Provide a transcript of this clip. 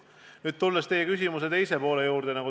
Nüüd tulen teie küsimuse teise poole juurde.